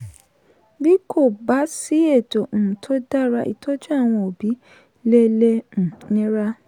bí kò bá sí ètò um tó dára ìtọ́jú àwọn òbí le le um nira.